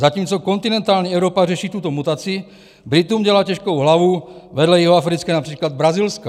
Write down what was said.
Zatímco kontinentální Evropa řeší tuto mutaci, Britům dělá těžkou hlavu vedle jihoafrické například i brazilská.